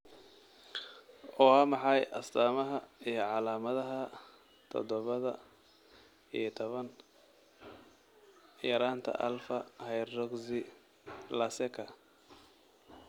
Waa maxay astamaha iyo calaamadaha todoba iyo tobaan yaraanta alfa hydroxylaseka?